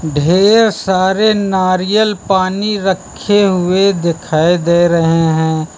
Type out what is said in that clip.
ढेर सारे नारियल पानी रखे हुए दिखाई दे रहे हैं।